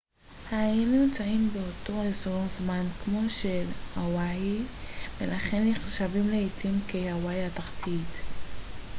האיים נמצאים באותו אזור זמן כמו של הוואי ולכן נחשבים לעתים כ הוואי התחתית